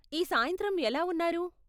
ఈ సాయంత్రం ఎలా ఉన్నారు?